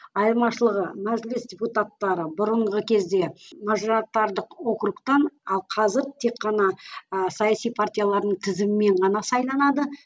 айырмашылығы мәжіліс депутаттары бұрынғы кезде округтан ал қазір тек қана ыыы саясы партиялардың тізімімен ғана сайланады